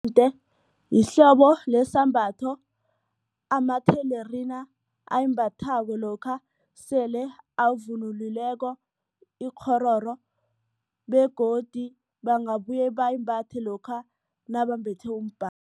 lihlobo lesambatho amathelerina ayimbathako lokha sele abavunulileko ikghororo begodu bangabuye bayimbatha lokha nabambethe